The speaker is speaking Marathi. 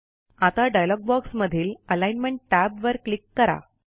आता डायलॉग बॉक्समधील अलिग्नमेंट Tab वर क्लिक करा